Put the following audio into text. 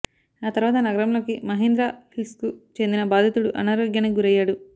ఆ తర్వాత నగరంలోకి మహేంద్ర హిల్స్కు చెందిన బాధితుడు అనారోగ్యానికి గురయ్యాడు